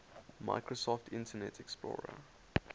microsoft internet explorer